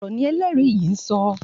Òótọ́ ọ̀rọ̀ ni ẹlẹ́rìí yìí ń sọ.